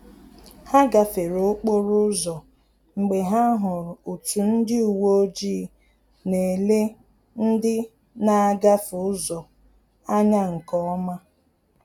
Ha gafere okporo ụzọ mgbe ha hụrụ otu ndị uweojii na-ele ndị na-agafe ụzọ anya nke ọma